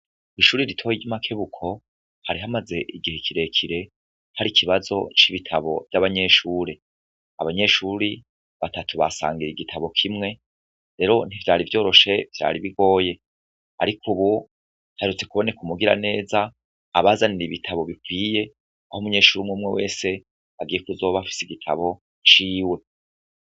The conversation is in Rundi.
Ku ishuri ritoye ry'imakebuko hari hamaze igihe kirekire hari ikibazo c'ibitabo vy'abanyeshuri abanyeshuri batatu basangira igitabo kimwe rero ntivyari vyoroshe vyari bigoye, ariko, ubu ntarutse kuboneka umugira neza abazanire ibitabo bikwiye aho umunyeshuri umwe umwe wese se agihe kuzobafise igitabo ciwe.